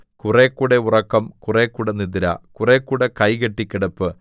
കുറെക്കൂടെ ഉറക്കം കുറെക്കൂടെ നിദ്ര കുറെക്കൂടെ കൈകെട്ടി കിടപ്പ്